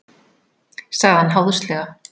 sagði hann háðslega.